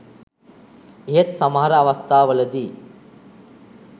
එහෙත් සමහර අවස්ථාවල දී